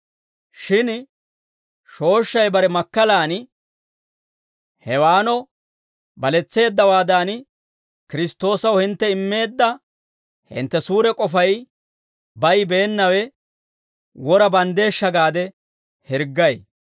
Shin shooshshay bare makkalaan Hewaano baletseeddawaadan, Kiristtoosaw hintte immeedda hintte suure k'ofay bayibeennawe wora banddeeshsha gaade hirggay.